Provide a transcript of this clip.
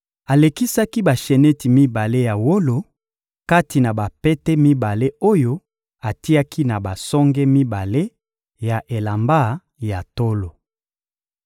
Alekisaki basheneti mibale ya wolo kati na bapete mibale oyo atiaki na basonge mibale ya elamba ya tolo.